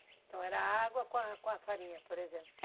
Então era água com a com a farinha, por exemplo?